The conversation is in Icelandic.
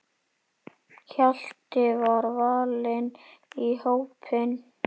Hjalti var valinn í hópinn.